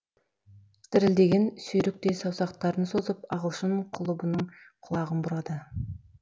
дірілдеген сүйріктей саусақтарын созып ағылшын құлыбының құлағын бұрады